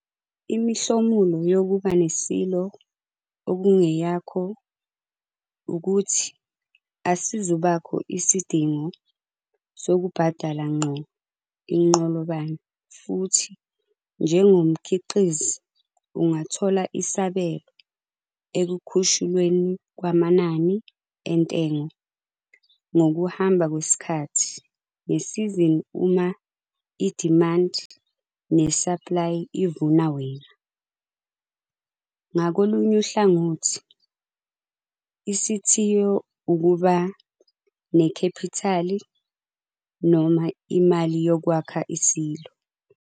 Imihlomulo yokuba ne-silo okungeyakho ukuthi asizubakho isidingo sokubhadala ngqo inqolobane futhi njengomkhiqizi ungathola isabelo ekukhushulweni kwamanani entengo ngokuhamba kwesikhathi ngesizini uma idimandi nesaplayi ivuna wena. Ngakolunye uhlangothi, isithiyo ukuba nekhephithali - imali yokwakha i-silo.